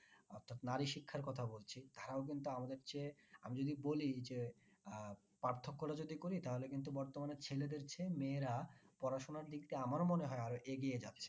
অর্থাৎ নারী শিক্ষার কথা বলছি তারাও কিন্তু আমাদের চেয়ে আমি যদি বলি যে আহ পার্থক্যটা যদি করি তাহলে কিন্তু বর্তমানে ছেলেদের চেয়ে মেয়েরা পড়াশোনার দিক দিয়ে আমারও মনে হয় এগিয়ে যাচ্ছে।